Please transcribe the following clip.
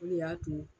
O de y'a to